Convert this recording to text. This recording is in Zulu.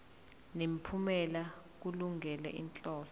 nemiphumela kulungele inhloso